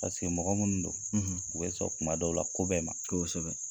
Paseke mɔgɔ minnu don, u bɛ sɔn kuma dɔw la, ko bɛɛ ma. Kosɛbɛ;